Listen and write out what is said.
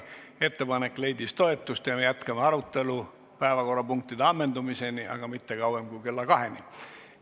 Ettepanek leidis toetust ja me jätkame arutelu päevakorrapunktide ammendumiseni, aga mitte kauem kui kella 14-ni.